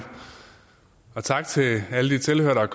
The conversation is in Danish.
og tak til alle de tilhørere der er